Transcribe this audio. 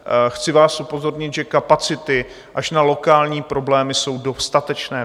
Chci vás upozornit, že kapacity až na lokální problémy jsou dostatečné.